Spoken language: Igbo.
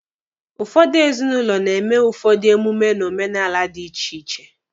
Ụfọdụ ezinụlọ na-eme ụfọdụ emume n'omenala dị iche iche.